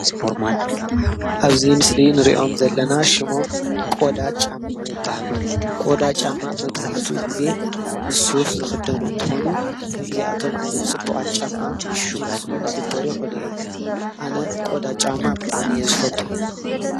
ኣብዚ ምስሊ ንሪኦም ዘለና ሽሞም ቆዳ ጫማ ይበሃሉ። ቆዳ ጫማ መብዛሕትኡ ግዘ ምስ ሱፍ ዝክደኑ እንትኾኑ ከምዚአቶም ዓይነታት ፅቡቃት ጫማ ምስ ጅኑስ እውን ክግበሩ ይኽእሉ እዮም። ኣነ ቆዳ ጫማ ብጣዕሚ እየ ዝፈቱ።